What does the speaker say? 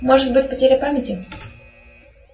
может быть потеря памяти